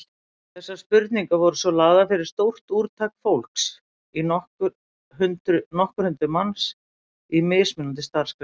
Þessar spurningar voru svo lagðar fyrir stórt úrtak fólks, nokkur hundruð manns, í mismunandi starfsgreinum.